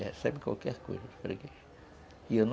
E recebe qualquer coisa